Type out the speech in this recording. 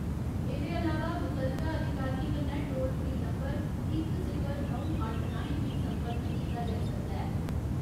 एह्दे अलावा मुतलका अधिकारियें कन्नै टोल फ्री नंबर इक सिफर नौ अट्ठ राहें बी सम्पर्क कीता जाई सकदा ऐ।